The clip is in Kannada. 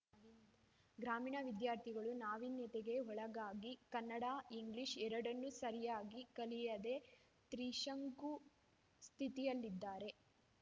ಗ್ರಾಮೀಣ ವಿದ್ಯಾರ್ಥಿಗಳು ನಾವೀನ್ಯತೆಗೆ ಒಳಗಾಗಿ ಕನ್ನಡ ಇಂಗ್ಲೀಷ್‌ ಎರಡನ್ನು ಸರಿಯಾಗಿ ಕಲಿಯದೆ ತ್ರಿಶಂಕು ಸ್ಥಿತಿಯಲ್ಲಿದ್ದಾರೆ